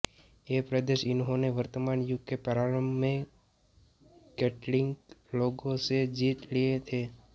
ये प्रदेश इन्होंने वर्तमान युग के प्रारंभ में केल्टिक लोगों से जीत लिए थे